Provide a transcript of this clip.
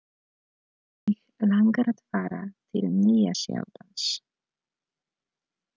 Mig langar að fara til Nýja-Sjálands.